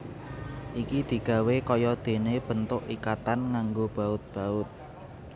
Iki digawé kaya dene bentuk ikatan nganggo baut baut